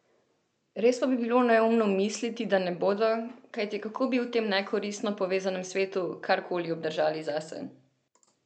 Res pa bi bilo neumno misliti, da ne bodo, kajti kako bi v tem nekoristno povezanem svetu karkoli obdržal zase?